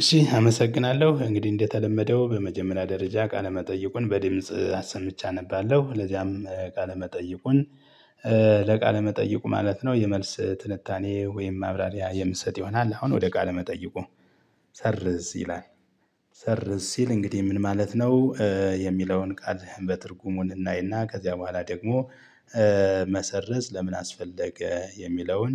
እሺ አመሰግናለሁ እንግዲህ እንደተለመደው በመጀመሪያ ደረጃ ቃለመጠይቁን በድምጽ አሰምቼ አነባለሁ ለዚያም ቃለ መጠይቁን ለቃለ መጠይቁ ማለት ነው የመልስ ትንታኔ ወይም ማብራሪያ የምሰጥ ይሆናል። አሁን ወደ ቃል መጠይቁ ሰርዝ ይላል ሰርዝ ሲል እንግዲህ ምን ማለት ነው? የሚለውን ቃል በትርጉሙ እናይና ከዚያ በኋላ ደግሞ መሰረዝ ለምን አስፈለገ የሚለውን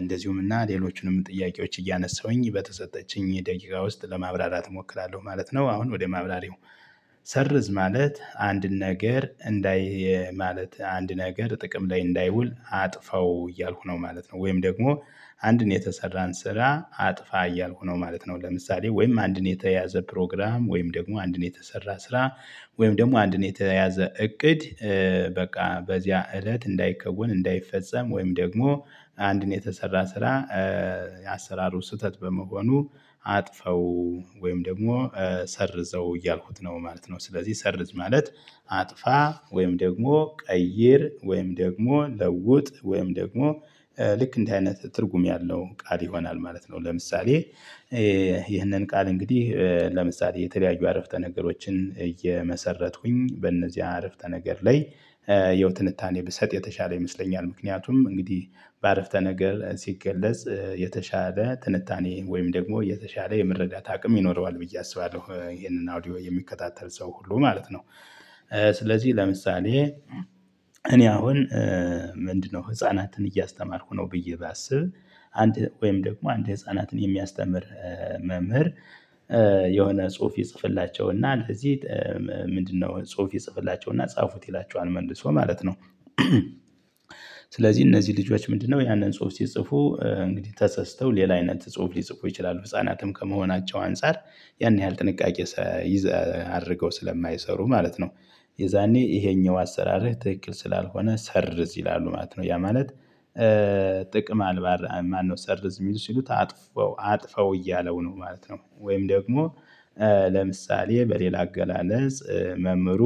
እንደዚሁም እና ሌሎቹንም ጥያቄዎች እያነሳሁኝ በተሰጠችኝ ደቂቃ ውስጥ ለማብራራት እሞክራለሁ ማለት ነው። አሁን ወደ ማብራሪው ሰርዝ ማለት አንድ ነገር እንዳይ ማለት አንድ ነገር ጥቅም ላይ እንዳይውል አጥፈው እያልኩ ነው ማለት ነው ወይም ደግሞ አንድን የተሰራን ስራ አጥፋ እያልኩነው ማለት ነው። ለምሳሌ ወይም አንድን የተያዘ ፕሮግራም ወይም ደግሞ አንድን የተሰራ ስራ ወይም ደግሞ አንድን የተያዘ እቅድ በቃ በዚያ እለት እንዳይከወን እንዳይፈጸም ወይም ደግሞ አንድን የተሰራ ስራ የአሰራሩ ስህተት በመሆኑ አጥፈው ወይም ደግሞ ሰርዘው እያልኩት ነው ማለት ነው ስለዚህ ሰርዝ ማለት አጥፋ ወይም ደግሞ ቀይር ወይም ደግሞ ለውጥ ወይም ደግሞ ልክ እንዲህ አይነት ትርጉም ያልው ቃል ይሆናል ማለት ነው። ለምሳሌ ይህንን ቃል እንግዲህ ለምሳሌ የተለያዩ አረፍተ ነገሮችን እየመሰረትኩኝ በእነዚህ አረፍተ ነገር ላይ ያው ትንታኔ ብሰጥ የተሻለ ይመስለኛል ምክንያቱም እንግዲህ በአረፍተ ነገር ሲገለጽ የተሻለ ትንታኔ ወይም ደግሞ የተሻለ የመረዳት አቅም ይኖረዋል ብዬ አስባለሁ ይሄንን አውዲዮ የሚከታተል ሰው ሁሉ ማለት ነው። ስለዚህ ለምሳሌ እኔ አሁን ምንድነው? ህፃናትን እያስተማርኩ ነው ብዬ ባስብ አንድ ወይም ደግሞ አንድ ህፃናትን የሚያስተምር መምህር የሆነ ጽሁፍ ይጽፍላቸው እና ለዚህ ምንድነው ጽሁፍ የጻፉላቸውና ጻፉት ይላቸዋል መልሶ ማለት ነው። ስለዚህ እነዚህ ልጆች ምንድነው ያንን ጽሁፍ ሲጽፉ እንግዲህ ተሳስተው ሌላ አይነት ጽሁፍ ሊጽፉ ይችላሉ ህፃናትም ከመሆናቸው አንፃር ያን ያህል ጥንቃቄ አድርገው ስለማይሰሩ ማለት ነው። የዛኔ ይሄኛው አሰራር ትክክል ስላልሆነ ሰርዝ ይላሉ ማለት ነው። ያ ማለት ጥቅም አልባራ ማነው ሰርዝ የሚል ሲሉት አጥፋው አጥፋው እያለው ነው ማለት ነው። ወይም ደግሞ ለምሳሌ በሌላ አገላለጽ መምህሩ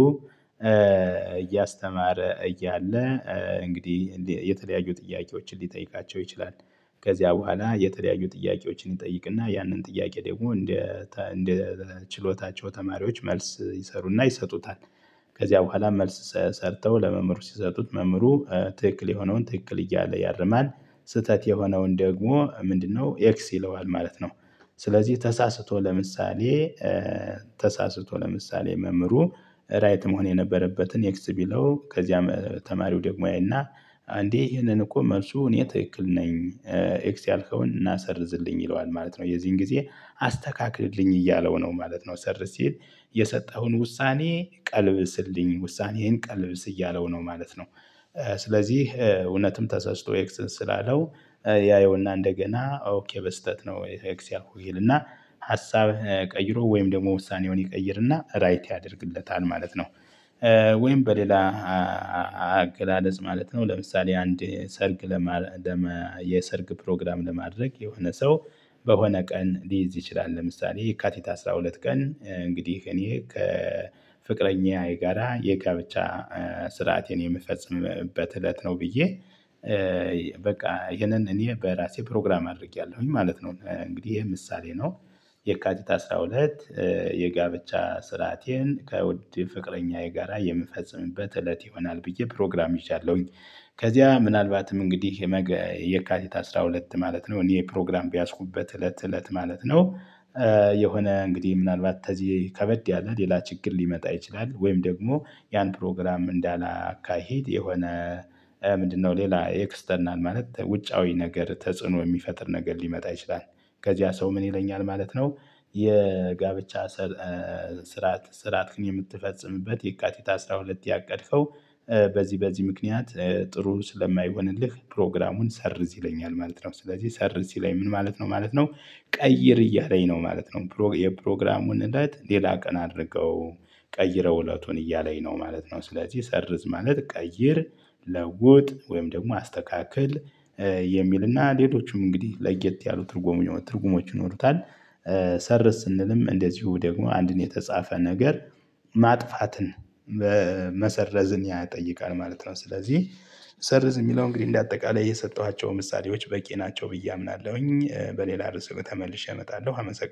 እያስተማረ እያለ እንግዲህ የተለያዩ ጥያቄዎችን ሊጠይቃቸው ይችላል ከዚያ በኋላ የተለያዩ ጥያቄዎችን ይጠይቅና ያንን ጥያቄ ደግሞ እንደ እንደ ችሎታቸው ተማሪዎች መልስ ይሰሩና ይሰጡታል። ከዚያ በኋላ መልስ ሰርተው ለመምህሩ ሲሰጡት መምህሩ ትክክል የሆነውን ትክክል እያለ ያርማል ስህተት የሆነውን ደግሞ ምንድነው ኤክስ ይለዋል ማለት ነው። ስለዚህ ተሳስቶ ለምሳሌ ተሳስቶ ለምሳሌ መምህሩ ራይት መሆን የነበረበትን ኤክስ ቢለው ከዚያም ተማሪው ደግሞ ያይና አንዴ ይሄንን እኮ መልሱ እኔ ትክክል ነኝ ኤክስ ያልከውን ናሰርዝልኝ ይለዋል ማለት ነው። የዚህን ጊዜ አስተካክልልኝ እያለው ነው ማለት ነው ሰር ሲል የሰጠኸውን ውሳኔ ቀልብስልኝ ውሳኔህን ቀልብስ እያለው ነው ማለት ነው። ስለዚህ እውነትም ተሰስቶ ኤክስ ስላለው ያየውና እንደገና ኦኬ በስህተት ነው ወይ ኤክስ ያልኩህ ይልና ሀሳብህን ቀይሮ ወይም ደግሞ ውሳኔውን ይቀይርና ራይት ያደርግለታል ማለት ነው። ወይም በሌላ አገላለጽ ማለት ነው ለምሳሌ አንድ ሰርግ ለማ የሰርግ ፕሮግራም ለማድረግ የሆነ ሰው በሆነ ቀን ሊይዝ ይችላል ለምሳሌ የካቲት አስራ ሁለት ቀን እንግዲህ እኔ ከፍቅረኛዬ ጋራ የጋብቻ ስርዓቴን የምፈጽምበት እለት ነው ብዬ በቃ ይሄንን እኔ በራሴ ፕሮግራም አድርጌያለሁኝ ማለት ነው። እንግዲህ ይሄ ምሳሌ ነው። የካቲት አስራ ሁለት የጋብቻ ስርአቴን ከውድ ፍቅረኛዬ ጋራ የምፈጽምበት እለት ይሆናል ብዬ ፕሮግራም ይዣለሁኝ ከዚያ ምናልባትም እንግዲህ የመገ የካቲት አስራ ሁለት ማለት ነው እኔ የፕሮግራም በያዝኩበት እለት እለት ማለት ነው። የሆነ እንግዲህ ምናልባት ተዚህ ከበድ ያለ ሌላ ችግር ሊመጣ ይችላል ወይም ደግሞ ያን ፕሮግራም እንዳላካሄድ የሆነ ምንድነው ሌላ የክርስትናን ማለት ውጫዊ ነገር ተጽዕኖ የሚፈጥር ነገር ሊመጣ ይችላል። ከዚያ ሰው ምን ይለኛል ማለት ነው። የጋብቻ ስርዓት ስርአትክን የምትፈጽምበት የካቲት አስራ ሁለት ያቀድከው? በዚህ በዚህ ምክንያት ጥሩ ስለማይሆንልህ ፕሮግራሙን ሰርዝ ይለኛል ማለት ነው። ስለዚህ ሰርዝ ይለኛል ምን ማለት ነው ማለት ነው? ቀይር እያለኝ ነው ማለት ነው። የፕሮግራሙን እለት ሌላ ቀን አድርገው ቀይረው እለቱን እያለኝ ነው ማለት ነው። ስለዚህ ሰርዝ ማለት ቀይር ለውጥ ወይም ደግሞ አስተካክል የሚልና ሌሎችም እንግዲህ ለየት ያሉ ትርጉሙ የሆኑ ትርጉሞች ይኖሩታል። ሰርዝ ስንልም እንደዚሁ ደግሞ አንድን የተጻፈ ነገር ማጥፋትን መሰረዝን ያጠይቃል ማለት ነው። ስለዚህ ሰርዝ የሚለው እንግዲህ እንደ አጠቃላይ የሰጠኋቸው ምሳሌዎች በቂ ናቸው ብዬ አምናለሁኝ። በሌላ ርዕስ ተመልሼ እመጣለሁ አመሰግናለሁ